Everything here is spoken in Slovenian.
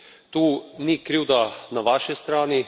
Tu ni krivda na vaši strani.